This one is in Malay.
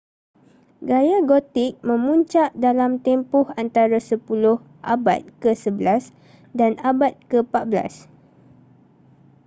gaya gothic memuncak dalam tempoh antara 10 - abad ke-11 dan abad ke-14